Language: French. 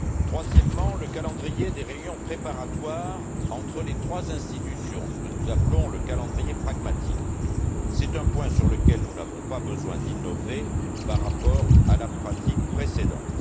Troisièmement, le calendrier des réunions préparatoires entre les trois institutions, ce que nous appelons le calendrier pragmatique c'est un point sur lequel nous n'avons pas besoin d'innover par rapport à la pratique précédente.